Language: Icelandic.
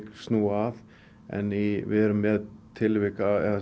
snúa að en við erum með tilvik